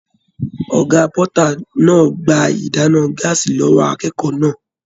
Ọgá pọta náà gbà ìdáná gàásí lọwọ akékòó náà.